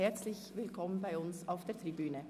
Herzlich willkommen bei uns auf der Tribüne!